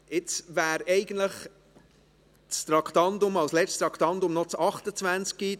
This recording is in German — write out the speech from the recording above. Jetzt wäre eigentlich als letztes noch Traktandum 28 an der Reihe.